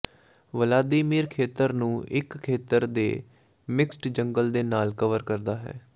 Vladimir ਖੇਤਰ ਨੂੰ ਇੱਕ ਖੇਤਰ ਦੇ ਮਿਕਸਡ ਜੰਗਲ ਦੇ ਨਾਲ ਕਵਰ ਕਰਦਾ ਹੈ